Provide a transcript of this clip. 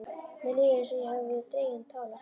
Mér líður eins og ég hafi verið dregin á tálar.